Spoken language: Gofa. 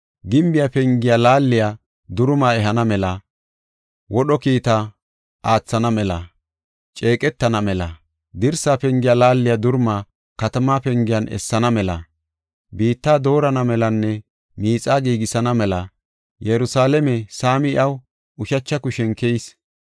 Gimbiya pengiya laaliya duruma ehana mela, wodho kiita aathana mela, ceeqetana mela, dirsa pengiya laaliya duruma katama pengen essana mela, biitta doorana melanne miixa giigisana mela Yerusalaame saami iyaw ushacha kushen keyis.